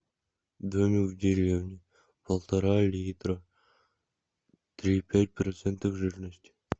домик в деревне полтора литра три и пять процентов жирности